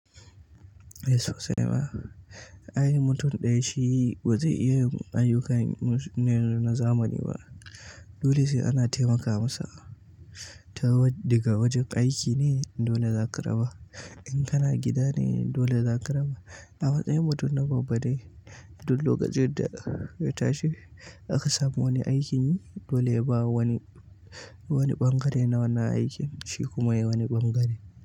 Eh sosai ma, ai mutum ɗaya shi ba zai iya ayyukan na zamani ba. Dole sai ana taimaka masa, ta wadde ga wajen aiki ne dole za ka raba. In kana gida ne dole zaka raba a matsayin mutum na babbade, duk lokacin da ya tashi aka samu wani aikin dole ya ba wani, wani ɓangare na wannan aikin shi kuma yi wani ɓangare.